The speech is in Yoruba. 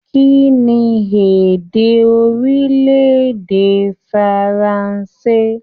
Kínní èdè orilẹ-èdè Faransé?